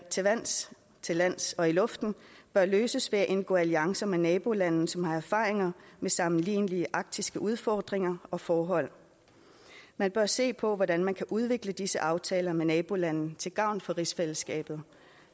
til vands til lands og i luften bør løses ved at indgå alliancer med nabolande som har erfaringer med sammenlignelige arktiske udfordringer og forhold man bør se på hvordan man kan udvikle disse aftaler med nabolande til gavn for rigsfællesskabet